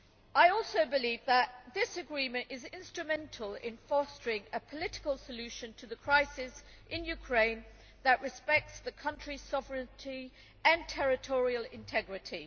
I also believe that this agreement is instrumental in fostering a political solution to the crisis in Ukraine which respects the country's sovereignty and territorial integrity.